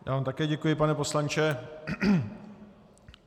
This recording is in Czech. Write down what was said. Já vám také děkuji, pane poslanče.